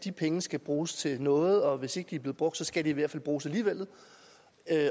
de penge skal bruges til noget og hvis ikke de er blevet brugt skal de i hvert fald bruges alligevel